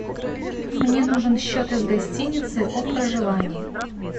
мне нужен счет из гостиницы о проживании